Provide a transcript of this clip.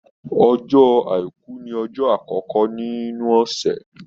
Ọjọ́ àìkú ní ọjọ́ àkọ́kọ́ nínu ọ̀sẹ̀.